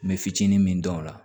N bɛ fitinin min dɔn o la